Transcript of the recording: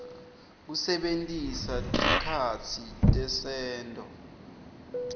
kusebentisa tikhatsi tesento